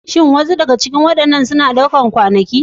Shin wasu daga cikin waɗannan ƙaddamarwa suna ɗaukar kwanaki?